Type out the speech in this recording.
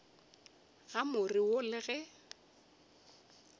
ga more wo le ge